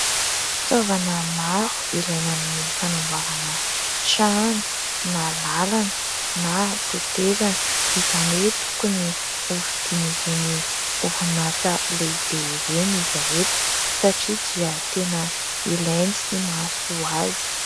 Fitaovana maro ilaina amin'ny fanamboarana trano na lalana na tetezana; izany hoe tokony hovidian'ireny oronasa lehibe ireny izy ireto satria dia tena ilainy sy mahasoa azy.